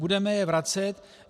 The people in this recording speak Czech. Budeme je vracet?